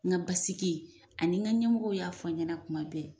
N ga basiki ani n ka ɲɛmɔw y'a fɔ n ɲɛna kuma bɛɛ